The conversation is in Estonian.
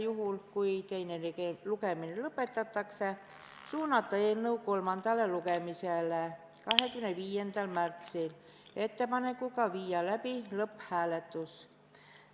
Juhul kui teine lugemine lõpetatakse, võiks suunata eelnõu kolmandale lugemisele 25. märtsil ettepanekuga viia läbi lõpphääletus.